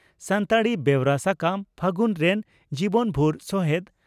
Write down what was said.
ᱥᱟᱱᱛᱟᱲᱤ ᱵᱮᱣᱨᱟ ᱥᱟᱠᱟᱢ 'ᱯᱷᱟᱹᱜᱩᱱ' ᱨᱮᱱ ᱡᱤᱵᱚᱱᱵᱷᱩᱨ ᱥᱚᱦᱮᱫ